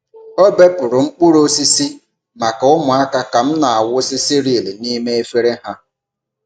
Ọ bepụrụ mkpụrụ osisi maka ụmụaka ka m na-awụsị cereal n’ime efere ha.